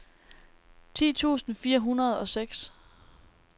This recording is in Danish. ti tusind fire hundrede og seks